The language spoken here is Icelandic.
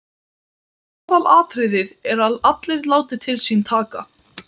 Aðalatriðið er að allir láti til sín taka.